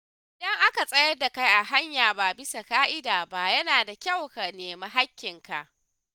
Idan aka tsayar da kai a hanya ba bisa ƙa’ida ba, yana da kyau ka nemi haƙƙin ka.